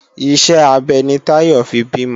Iṣẹ́ abẹ ni Táyọ̀ fi bímọ